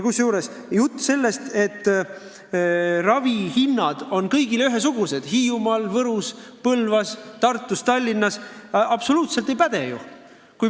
Kusjuures jutt sellest, et ravihinnad on kõikjal ühesugused – Hiiumaal, Võrus, Põlvas, Tartus, Tallinnas – pole absoluutselt pädev!